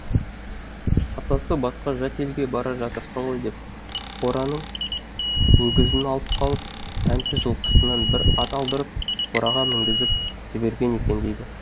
атасы басқа жат елге бара жатырсың ғой деп қораның өгізін алып қалып тәнті жылқысынан бір ат алдырып қораға мінгізіп жіберген екен дейді